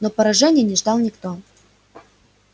но поражения не ждал никто